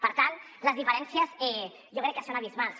per tant les diferències jo crec que són abismals